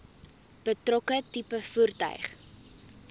betrokke tipe voertuig